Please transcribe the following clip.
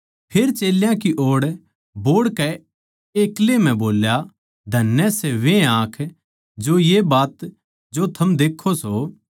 फेर चेल्यां की ओड़ बोहड़कै एक्लै म्ह बोल्या धन्य सै वे आँख जो ये बात जो थम देक्खो सो